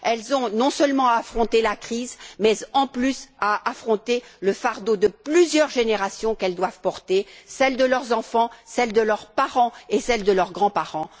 Elles ont non seulement à affronter la crise, mais de plus à affronter le fardeau de plusieurs générations qu'elles doivent porter celle de leurs enfants, celle de leurs parents et celle de leurs grands parents.